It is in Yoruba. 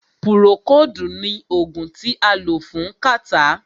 Púrókòodu ní oògùn tí a lò fún kàtá.